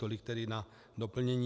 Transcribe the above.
Tolik tedy na doplnění.